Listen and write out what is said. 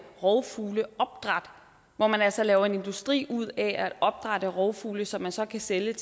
rovfugleopdræt hvor man altså laver en industri ud af at opdrætte rovfugle som man så kan sælge